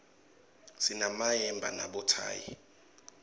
sinemayemba nabothayi